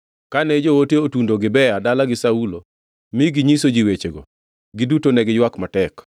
Kane joote otundo Gibea dalagi Saulo mi ginyiso ji wechego, giduto ne giywak matek.